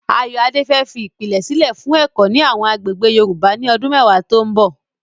Ayoade fẹ́ fi ìpìlẹ̀ sílẹ̀ fún ẹ̀kọ́ ní àwọn agbègbè Yorùbá ní ọdún mẹ́wàá tó ń bọ̀.